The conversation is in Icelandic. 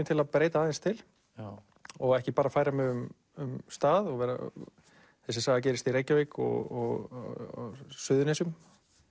til að breyta til og ekki bara færa mig um um stað þessi saga gerist í Reykjavík og á Suðurnesjum